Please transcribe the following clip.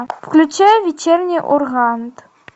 включай вечерний ургант